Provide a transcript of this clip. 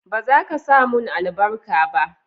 ba zaka samun albarka ba?